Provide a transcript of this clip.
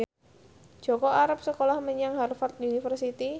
Jaka arep sekolah menyang Harvard university